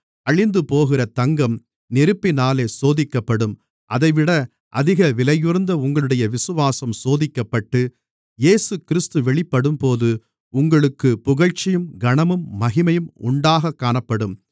அழிந்துபோகிற தங்கம் நெருப்பினாலே சோதிக்கப்படும் அதைவிட அதிக விலையுயர்ந்த உங்களுடைய விசுவாசம் சோதிக்கப்பட்டு இயேசுகிறிஸ்து வெளிப்படும்போது உங்களுக்குப் புகழ்ச்சியும் கனமும் மகிமையும் உண்டாகக் காணப்படும்